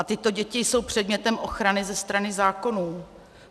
A tyto děti jsou předmětem ochrany ze strany zákonů.